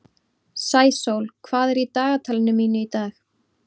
Sæsól, hvað er í dagatalinu mínu í dag?